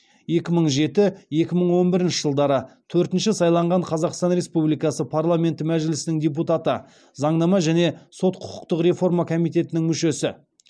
екі мың жеті екі мың он бірінші жылдары төртінші сайланған қазақстан республикасы парламенті мәжілісінің депутаты заңнама және сот құқықтық реформа комитетінің мүшесі